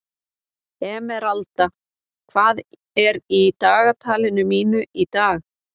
Emeralda, hvað er í dagatalinu mínu í dag?